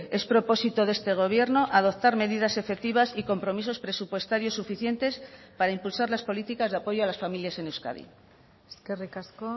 es propósito de este gobierno adoptar medidas efectivas y compromisos presupuestarios suficientes para impulsar las políticas de apoyo a las familias en euskadi eskerrik asko